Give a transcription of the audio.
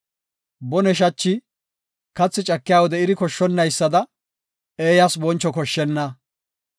Bone shachi, kathi cakiya wode iri koshshonaysada, eeyas boncho koshshenna.